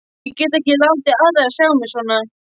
Ég get ekki látið aðra sjá mig svona.